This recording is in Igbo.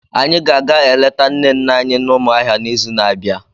Anyị ga-aga eleta nne nne anyị na Umuahia n'izu na-abịa.